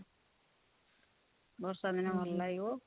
ବର୍ଷା ଦିନେ ଭଲ ଲାଗିବ